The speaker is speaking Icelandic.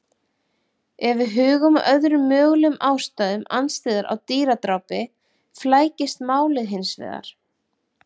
Ef við hugum að öðrum mögulegum ástæðum andstyggðar á dýradrápi flækist málið hins vegar.